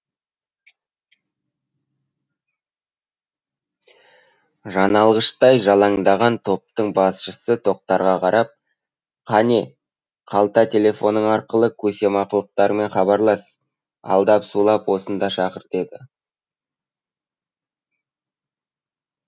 жаналғыштай жалаңдаған топтың басшысы тоқтарға қарап қане қалта телефоның арқылы көсемсымақтарыңмен хабарлас алдап сулап осында шақыр деді